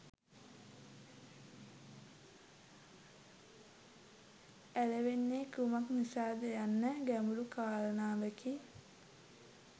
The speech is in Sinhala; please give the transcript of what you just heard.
ඇලවෙන්නේ කුමක් නිසාද යන්න ගැඹුරු කාරණාවකි